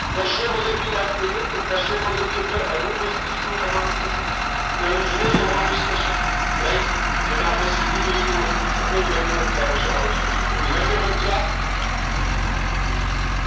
પશ્વ મગજ ની વાત કરીયે તો પશ્વ મગજ ની અંદર અનુમસ્તિષ્ક નો સમાવેશ થશે પ્લેનઝ નો સમાવેશ થશે Right જેને આપડે તરીખે ઓળખીયે છીએ અને લંબમજ્જા નો સમાવેશ થાય છે એ લંબમજ્જા